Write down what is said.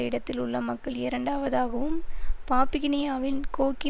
இடத்திலுள்ள மக்கள் இரண்டாவதாகவும் பாப்புகினியாவின் கோக்கி